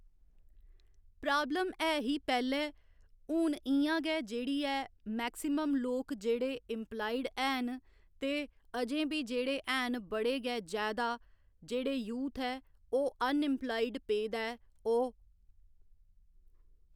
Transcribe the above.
problem ऐ ही पैह्‌ले हून इ'यां गै जेह्‌ड़ी ऐ मैक्सीमम लोक जेहड़े इंप्लायड हैन ते अजें बी जेह्ड़े हैन बड़े गै जैदा जेह्ड़े यूथ ऐ ओह् अन इंप्लायड पेदा ऐ ओह्